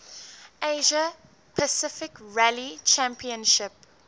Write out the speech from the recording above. asia pacific rally championship